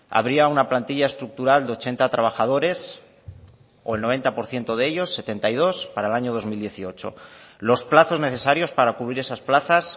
habría una plantilla estructural de ochenta trabajadores o el noventa por ciento de ellos setenta y dos para el año dos mil dieciocho los plazos necesarios para cubrir esas plazas